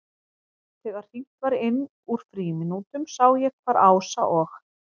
Þegar hringt var inn úr frímínútunum sá ég hvar Ása og